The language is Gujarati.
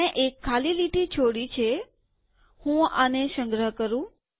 મેં એક ખાલી લીટી છોડી છેહું આને સંગ્રહ કરું